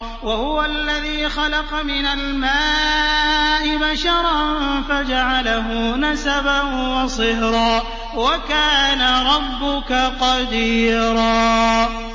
وَهُوَ الَّذِي خَلَقَ مِنَ الْمَاءِ بَشَرًا فَجَعَلَهُ نَسَبًا وَصِهْرًا ۗ وَكَانَ رَبُّكَ قَدِيرًا